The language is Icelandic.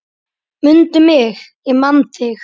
Mundu mig, ég man þig